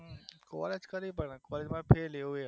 વર્ષ કર્યું પણ સરમાં